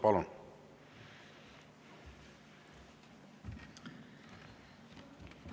Palun!